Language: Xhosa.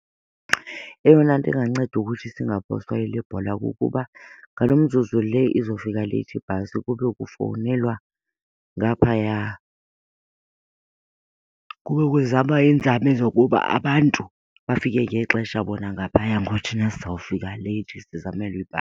Eyona nto inganceda ukuthi singaphoswa yile bhola kukuba ngalo mzuzu le izofika leyithi ibhasi kube kufowunelwa ngaphaya kube kuzamwa iinzame zokuba abantu bafike ngexesha bona ngaphaya, ngoba thina sizawufika late sizamele .